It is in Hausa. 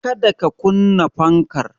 Kada ka kunna fankar